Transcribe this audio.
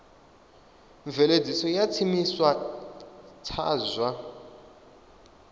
mveledziso ya tshiimiswa tsha zwa